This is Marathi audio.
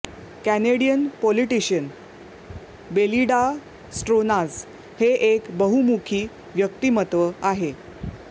कॅनेडियन पोलिटिशयन बेलिडां स्ट्रोनाच हे एक बहुमुखी व्यक्तिमत्व आहे